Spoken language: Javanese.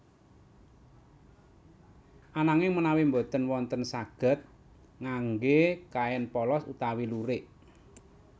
Ananging menawi boten wonten saged ngangge kain polos utawi lurik